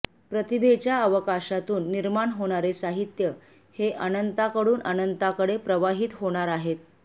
प्रतिभेच्या अवकाशातून निर्माण होणारे साहित्य हे अनंताकडून अनंताकडे प्रवाहित होणार आहे